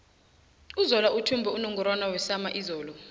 uzola uthumbe unungorwana wesama izolo